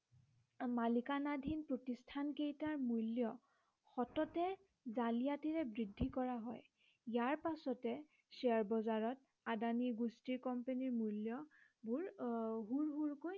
মালিকানাধীন প্ৰতিষ্ঠান কেইটাৰ মূল্য় সততে জালিয়াতিৰে বৃদ্ধি কৰা হয় ইয়াৰ পাছতে শ্বেয়াৰ বজাৰত আদানী গোষ্ঠীৰ কোম্পানীৰ মূল্য়বোৰ আহ হুৰ হুৰকৈ